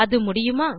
அது முடியுமா